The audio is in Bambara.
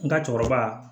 N ka cɛkɔrɔba